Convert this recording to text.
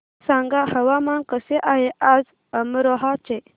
सांगा हवामान कसे आहे आज अमरोहा चे